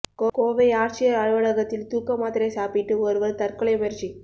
கோவை ஆட்சியர் அலுவலகத்தில் தூக்க மாத்திரை சாப்பிட்டு ஒருவர் தற்கொலை முயற்சி